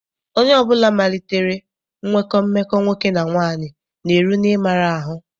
Onye ọbụla malitere nwekọ mmekọ nwoke na nwaanyị na-eru n'ịmara ahụ.